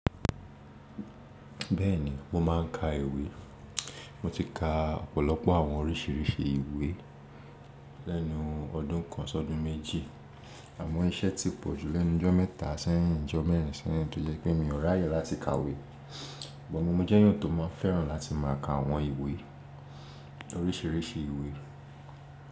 Bẹ́ẹ̀ni mo máa ń ka ìwé. Mo ti ka ọ̀pọ̀lọpọ̀ àwọn oríṣìíríṣìí ìwé lẹ́nu ọdún kan sọdún méjì àmọ́ iṣẹ́ ti pọ̀ jù lẹ́nu ijọ́ mẹ́ta sẹyin ijọ́ mẹ́rin sẹ́yìn tó jẹ́ pé mi ò ràyè láti ka ìwé. Bo mo jẹ́yàn tó máa fẹ́ràn láti máa ka àwọn ìwé oríṣìíríṣìí ìwé.